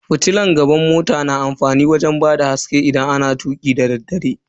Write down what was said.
Fitilan gaban mota na da amfani wajen bada haske idan ana tuki dadaddare.